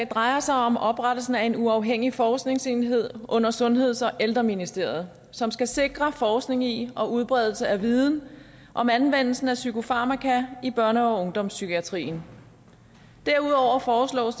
drejer sig om oprettelsen af en uafhængig forskningsenhed under sundheds og ældreministeriet som skal sikre forskning i og udbredelse af viden om anvendelsen af psykofarmaka i børne og ungdomspsykiatrien derudover foreslås